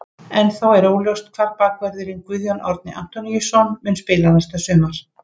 Ennþá er óljóst hvar bakvörðurinn Guðjón Árni Antoníusson mun spila næsta sumar.